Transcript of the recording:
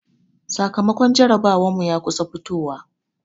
Sakamakon jarabawar mu ya kusa fitowa.